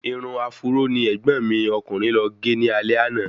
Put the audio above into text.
Irun áfúró ni ẹ̀gbọ́n mi ọkùnrin lọ gé ní alé àná